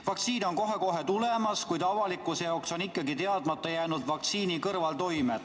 Vaktsiin on kohe-kohe tulemas, kuid avalikkusele on ikkagi teadmata vaktsiini kõrvaltoimed.